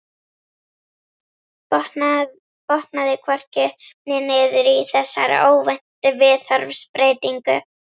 Botnaði hvorki upp né niður í þessari óvæntu viðhorfsbreytingu.